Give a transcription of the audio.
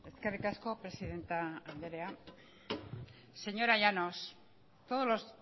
eskerrik asko presidente andrea señora llanos todos los